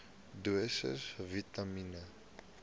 dosisse vitamien